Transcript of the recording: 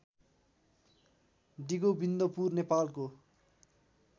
डिगोविन्दपुर नेपालको